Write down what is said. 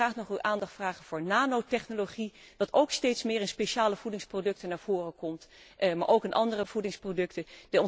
Ik wil graag nog uw aandacht vragen voor de nanotechnologie die ook steeds meer in speciale voedingsproducten naar voren komt, maar ook in andere voedingsproducten.